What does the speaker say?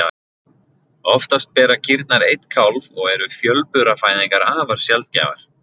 Oftast bera kýrnar einn kálf og eru fjölburafæðingar afar sjaldgæfar.